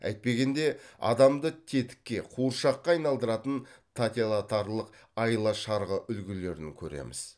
әйтпегенде адамды тетікке қуыршаққа айналдыратын айла шарғы үлгілерін көреміз